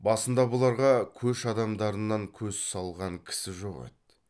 басында бұларға көш адамдарынан көз салған кісі жоқ еді